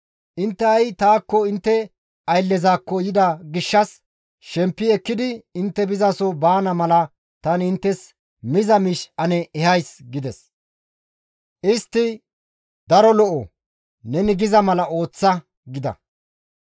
Intte ha7i taakko intte ayllezakko yida gishshas shempi ekkidi intte bizaso baana mala tani inttes miza miish ane ehays» gides. Istti, «Daro lo7o; neni giza mala ooththa» gida.